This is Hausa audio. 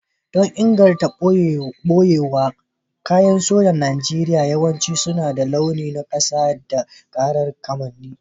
Don ingantacciyar ɓoyewa, kayan sojan Najeriya yawanci suna da launuka na ƙasa da ƙirar kamanni.